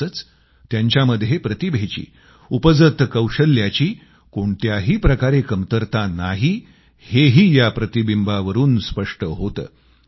तसंच त्यांच्यामध्ये प्रतिभेची उपजत कौशल्याची कोणत्याही प्रकारे कमतरता नाही हेही या प्रतिबिंबावरून स्पष्ट होतं